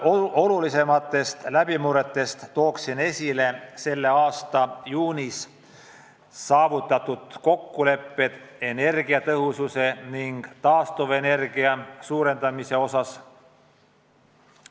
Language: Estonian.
Olulisematest läbimurretest tooksin esile tänavu juunis saavutatud kokkulepped energiatõhususe ning taastuvenergia suurendamise osas.